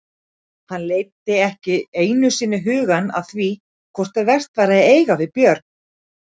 Hann leiddi ekki einu sinni hugann að því hvort vert væri að eiga við Björn.